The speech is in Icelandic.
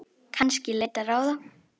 Kannski leita ráða.